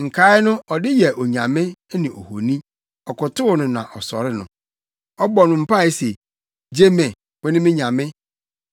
Nkae no ɔde yɛ onyame, ne ohoni; ɔkotow no na ɔsɔre no. Ɔbɔ no mpae se, “Gye me; wo ne me nyame.”